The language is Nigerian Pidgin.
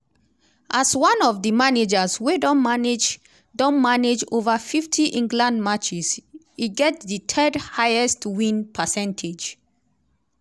as one of di managers wey don manage don manage ova 50 england matches e get di third highest win percentage.